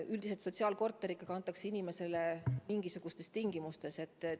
Üldiselt sotsiaalkorter ikkagi antakse inimesele sellisena, et tingimused on paremad.